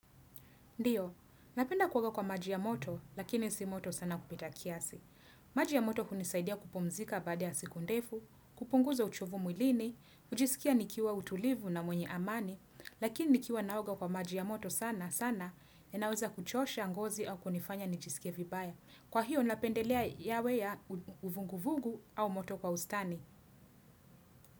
Ndio, napenda kuoga kwa maji ya moto lakini si moto sana kupita kiasi. Maji ya moto hunisaidia kupumzika baada ya l siku ndefu, kupunguza uchovu mwilini, kujisikia nikiwa utulivu na mwenye amani, lakini nikiwa naoga kwa maji ya moto sana, sana, inaweza kuchosha ngozi au kunifanya nijisikie vibaya. Kwa hiyo, napendelea yawe ya uvuguvugu au moto kwa ustani.